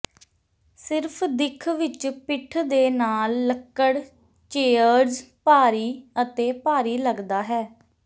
ਸਿਰਫ ਦਿੱਖ ਵਿੱਚ ਪਿੱਠ ਦੇ ਨਾਲ ਲੱਕੜ ਚੇਅਰਜ਼ ਭਾਰੀ ਅਤੇ ਭਾਰੀ ਲੱਗਦਾ ਹੈ